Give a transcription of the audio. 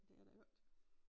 ***UF**